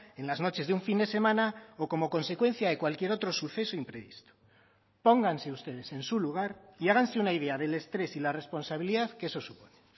en las noches de un fin de semana o como consecuencia de cualquier otro suceso imprevisto pónganse ustedes en su lugar y háganse una idea del estrés y la responsabilidad que eso supone